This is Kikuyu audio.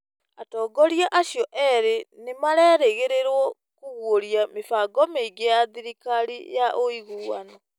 Atongoria acio ĩrĩ nĩ marerĩgĩrĩrio kũguũria mĩbango mĩingĩ ya thirikari ya ũiguano.